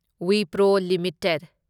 Wipro limited